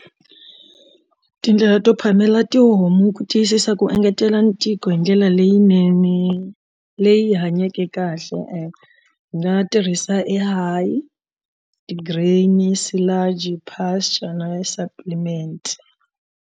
Tindlela to phamela tihomu ku tiyisisa ku engetela ntiko hi ndlela leyinene leyi hanyekeke kahle hi nga tirhisa ti green silage pasture na supplement.